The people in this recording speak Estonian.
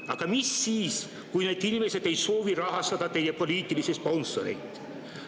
Aga mis siis, kui need inimesed ei soovi rahastada teie poliitilisi sponsoreid?